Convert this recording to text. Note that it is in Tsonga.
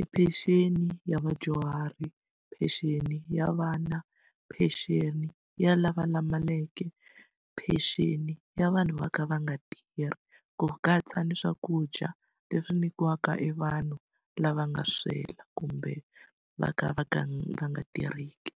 i pension ya vadyuhari, pension ya vana, pension ya lava lamaleke, pension ya vanhu va ka va nga tirhi, ku katsa na swakudya leswi nyikiwaka evanhu lava nga swela kumbe va ka va ka va nga tirheki.